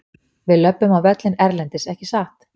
Við löbbum á völlinn erlendis ekki satt?